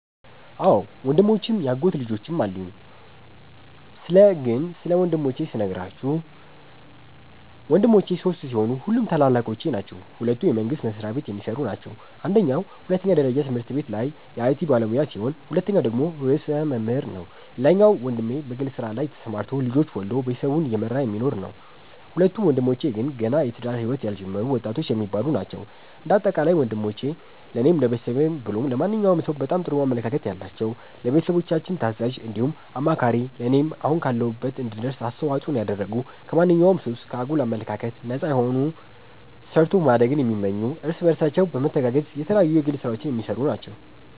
አዎ ወንድሞችም ያጎት ልጆችም አሉኝ ስለ ግን ስለ ወንድሞቼ ስነግራችሁ ወንድሞቼ ሶስት ሲሆኑ ሁሉም ታላላቆቼ ናቸዉ ሁለቱ የመንግስት መስሪያቤት የሚሰሩ ናቸው አንደኛዉ ሁለተኛ ደረጃ ትምህርት ቤት ላይ የአይቲ ባለሙያ ሲሆን ሁለተኛዉ ደግሞ ርዕሰ መምህር ነዉ ሌላኛዉ ወንድሜ በግል ስራ ላይ ተሰማርቶ ልጆች ወልዶ ቤተሰቡን እየመራ የሚኖር ነዉ። ሁለቱ ወንድሞቼ ግን ገና የትዳር ህይወት ያልጀመሩ ወጣቶች የሚባሉ ናቸዉ። እንደ አጠቃላይ ወንሞቼ ለኔም ለቤተሰብም ብሎም ለማንኛዉም ሰዉ በጣም ጥሩ አመለካከት ያላቸዉ፣ ለቤተሰቦቻችን ታዛዥ እንዲሁም አማካሪ ለኔም አሁን ካለሁበት እንድደርስ አስተዋፅኦን ያደረጉ ከማንኛዉም ሱስ፣ ከአጉል አመለካከት ነፃ የሆኑ ሰርቶ ማደግን የሚመኙ እርስ በርሳቸው በመተጋገዝ የተለያዩ የግል ስራዎች የሚሰሩ ናቸዉ።